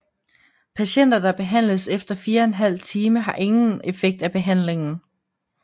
Patienter der behandles efter 4½ time har ingen effekt af behandlingen